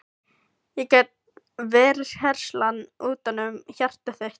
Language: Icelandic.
Ég get verið herslan utanum hjartað þitt.